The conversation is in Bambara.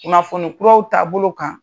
Kunnafoni kuraw taabolo kan.